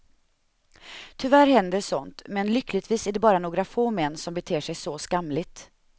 Tyvärr händer sådant, men lyckligtvis är det bara några få män som beter sig så skamligt.